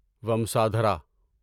ومسادھارا